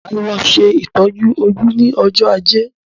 Máa lọ ṣe ìtọjú ojú ní ọjọ ajé